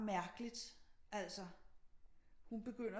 Mærkelig altså hun begynder